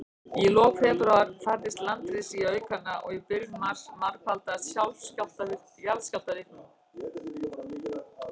Í lok febrúar færðist landris í aukana, og í byrjun mars margfaldaðist jarðskjálftavirknin.